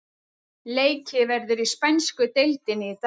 Leikið verður í spænsku deildinni í dag.